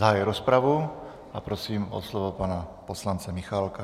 Zahajuji rozpravu a prosím o slovo pana poslance Michálka.